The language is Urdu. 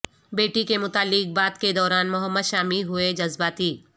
بیٹی کے متعلق بات کے دوران محمد شامی ہوئی جذباتی